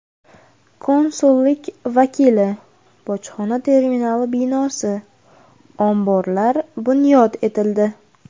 Konsullik vakili, bojxona terminali binosi, omborlar bunyod etildi.